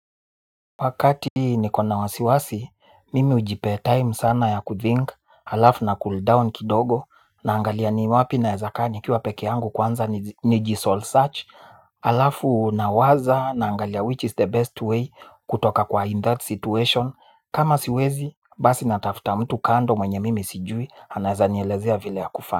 Wakati nikona wasiwasi, mimi ujipea time sana ya kuthink, alafu na cooldown kidogo, naangalia ni wapi naeza kaa nikiwa peke yangu kwanza, nijisol search, alafu nawaza, naangalia which is the best way, kutoka kwa in that situation, kama siwezi, basi natafuta mtu kando, mwenye mimi sijui, anaeza nielezea vile ya kufa.